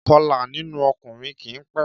Ìkọlà nínú ọkùnrin kì í pẹ́